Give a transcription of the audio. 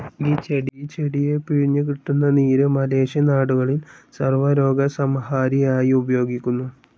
ഈ ചെടിയെ പിഴിഞ്ഞു കിട്ടുന്ന നീര് മലേഷ്യൻ നാടുകളിൽ സർവ്വരോഗസംഹാരിയായി ഉപയോഗിക്കുന്നു.